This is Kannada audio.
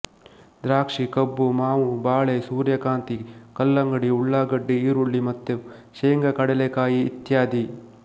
ದ್ರಾಕ್ಷಿ ಕಬ್ಬು ಮಾವು ಬಾಳೆ ಸೂರ್ಯಕಾಂತಿ ಕಲ್ಲಂಗಡಿ ಉಳ್ಳಾಗಡ್ಡಿ ಈರುಳ್ಳಿ ಮತ್ತು ಶೇಂಗಾಕಡಲೆಕಾಯಿ ಇತ್ಯಾದಿ